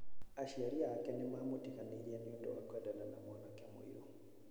Aciari ake nĩ maamũtiganĩirie nĩ ũndũ wa kwendana na mwanake mũirũ.